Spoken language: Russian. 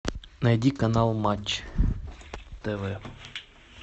найди канал матч тв